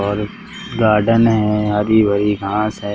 और गार्डन है हरी भरी घास है।